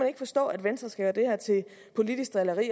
ikke forstå at venstre skal gøre det her til politisk drilleri